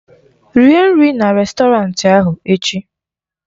Rie nri na rèstọrantị ahụ echi!